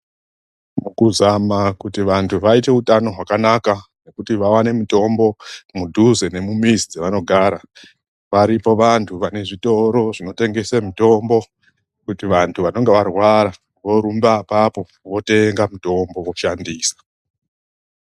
Mukuzama kuti vantu vaite hutano hwakanaka kuti vawane mitombo mudhuze nemumizi dzavanogara, varipo vantu vanezvitoro zvinotengesa mitombo, kuti vantu vanenge varwara vorumba apapo votenga mitombo, voshandisa.